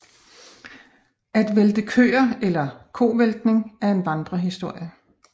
At vælte køer eller kovæltning er en vandrehistorie